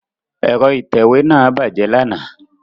Ẹ̀rọ ìtẹ̀wé náà bàjẹ́ lánàá.